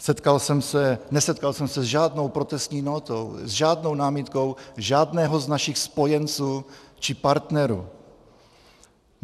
Nesetkal jsem se s žádnou protestní nótou, s žádnou námitkou žádného z našich spojenců či partnerů.